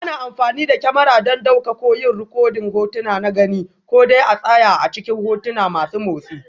Ana amfani da kyamara don ɗauka ko yin rikodin hotuna na gani, ko dai a tsaye ko a cikin hotuna masu motsi.